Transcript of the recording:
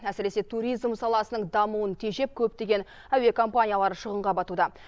әсіресе туризм саласының дамуын тежеп көптеген әуе компаниялары шығынға батуда